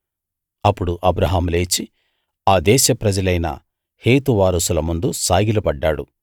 అప్పుడు అబ్రాహాము లేచి ఆ దేశ ప్రజలైన హేతు వారసుల ముందు సాగిల పడ్డాడు